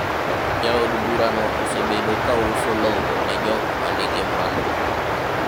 jaod bura no osebedo ga kauso lowo ne jok manigi mwandu